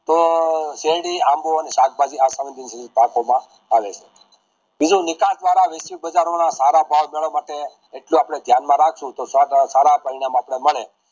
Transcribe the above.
તોહ શેરડી આંબો ને શાકભાજી તમે પાકો માં આવે છે બીજું નિકાલ દ્વારા પધારેતો ના સારા ભાવ મેળવા માટે જો આપડે દયાન માં રાખશુ તો સારા મળે